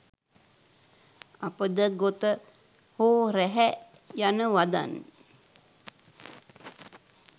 අපද ගොත හෝ රැහැ යන වදන්